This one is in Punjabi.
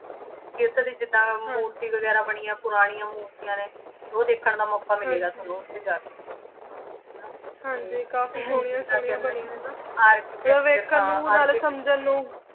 ਤੁਸੀਂ ਏਥੇ ਕੇ ਜਿਦਾਂ ਮੂਰਤੀ ਵੇਗਿਰਾ ਬਨਿਯਾਂ ਪੁਰਾਨਿਯਾਂ ਮੂਰ੍ਤਿਯਾਂ ਨੇ ਤੇ ਊ ਦੇਖਣ ਦਾ ਮੋਕਾ ਮਿਲੇ ਗਾ ਤਾਣੁ ਓਥੇ ਜਾ ਕੇ ਹਾਂਜੀ ਕਾਫੀ ਸੋਹ੍ਨਿਯਾਂ ਸੋਹ੍ਨਿਯਾਂ ਬਨਿਯਾਂ ਨੇ architecture ਹਾਂ ਮਤਲਬ ਦੇਖਣ ਨੂ ਨਾਲੇ ਸਮਝਾਂ ਨੂ